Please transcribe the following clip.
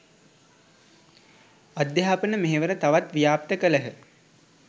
අධ්‍යාපන මෙහෙවර තවත් ව්‍යාප්ත කළහ.